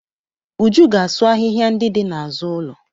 Uju ga-asụ ahịhịa ndị dị n'azụ ụlọ.